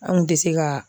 An kun tɛ se ka